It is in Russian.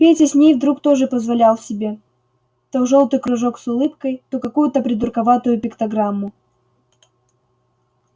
петя с ней вдруг тоже позволял себе то жёлтый кружок с улыбкой то какую-то придурковатую пиктограмму